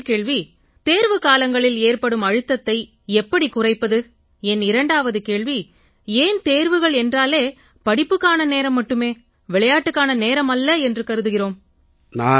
என் முதல் கேள்வி தேர்வுக்காலங்களில் ஏற்படும் அழுத்தத்தை எப்படிக் குறைப்பது என் இரண்டாவது கேள்வி ஏன் தேர்வுகள் என்றாலே படிப்புக்கான நேரம் மட்டுமே விளையாட்டுக்கான நேரம் அல்ல என்று கருதுகிறோம்